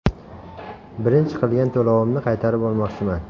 Birinchi qilgan to‘lovimni qaytarib olmoqchiman.